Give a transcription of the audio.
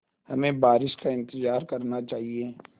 हमें बारिश का इंतज़ार करना चाहिए